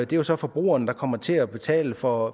det er så forbrugerne der kommer til at betale for